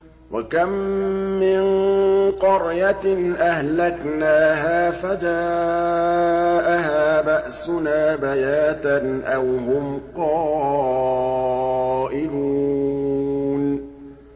وَكَم مِّن قَرْيَةٍ أَهْلَكْنَاهَا فَجَاءَهَا بَأْسُنَا بَيَاتًا أَوْ هُمْ قَائِلُونَ